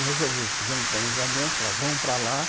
Aí resolvemos, fizemos um planejamento, falamos, vamos para lá.